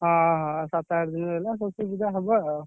ହଁ ହଁ ସାତଆଠ ଦିନ ରହିଲା ସରସ୍ୱତୀ ପୂଜା ହବ ଆଉ।